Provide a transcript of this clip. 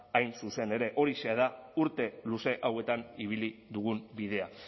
hain zuzen ere horixe da urte luze hauetan ibili dugun bidea